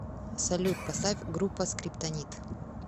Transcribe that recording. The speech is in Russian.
салют поставь группа скриптонит